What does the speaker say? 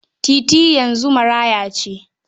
Titi yanzu maraya ce